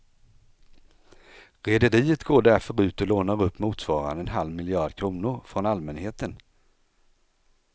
Rederiet går därför ut och lånar upp motsvarande en halv miljard kronor från allmänheten.